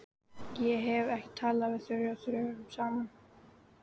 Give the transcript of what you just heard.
Ég hef ekki talað við Þuríði dögum saman.